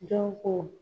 Jɔn ko